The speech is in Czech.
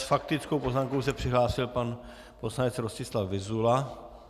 S faktickou poznámkou se přihlásil pan poslanec Rostislav Vyzula.